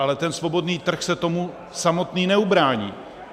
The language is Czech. Ale ten svobodný trh se tomu samotný neubrání.